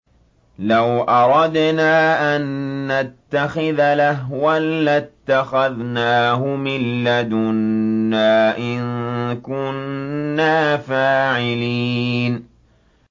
لَوْ أَرَدْنَا أَن نَّتَّخِذَ لَهْوًا لَّاتَّخَذْنَاهُ مِن لَّدُنَّا إِن كُنَّا فَاعِلِينَ